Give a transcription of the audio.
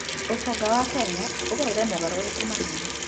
ũtonga wa Kenya ũgereire mogarũrũku manene.